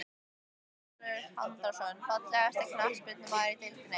Viktor Örlygur Andrason Fallegasti knattspyrnumaðurinn í deildinni?